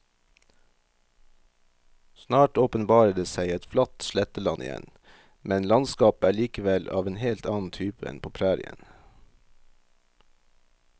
Snart åpenbarer det seg et flatt sletteland igjen, men landskapet er likevel av en helt annen type enn på prærien.